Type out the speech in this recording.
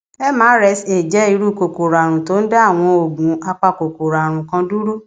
mrsa jẹ irú kòkòrò àrùn tó ń da àwọn oògùn apakòkòrò àrùn kan dúró